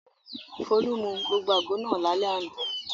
Folú mu gbogbo àgbo náà lálẹ́ àná.